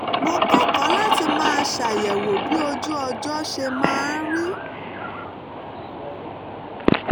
mo kẹ́kọ̀ọ́ láti máa ṣàyẹ̀wò bí ojú ọjọ́ ṣe máa rí